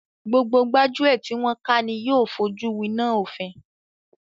Gbogbo gbájúẹ̀ tí wọn ká ni yóò fojú wináa òfin.